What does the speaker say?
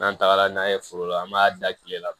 N'an tagara n'a ye foro la an b'a da tile la